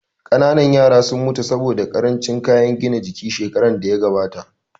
Ƙanana yaran sun mutu saboda ƙarancin kayan gina jiki shekarar da ta gabata